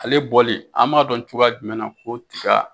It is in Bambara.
Ale bɔli an b'a dɔn cogoya jumɛn na ko tiga